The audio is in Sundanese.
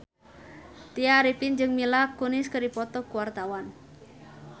Tya Arifin jeung Mila Kunis keur dipoto ku wartawan